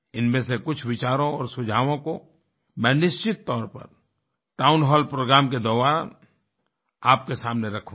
इनमें से कुछ विचारों और सुझावों को मैं निश्चित तौर पर टाउन हॉल प्रोग्राम के दौरान आपके सामने रखूंगा